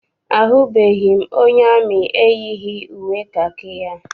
Ahụbeghị m onye amị eyighị uwe kakị ya.